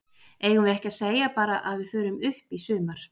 Eigum við ekki að segja bara að við förum upp í sumar?